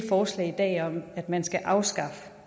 forslag i dag om at man skal afskaffe